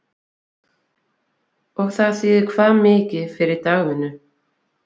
Og það þýðir hvað mikið fyrir dagvinnu?